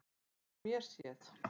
Frá mér séð.